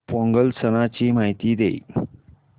पोंगल सणाची माहिती दे